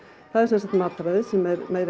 það er sem sagt mataræði sem er með meiri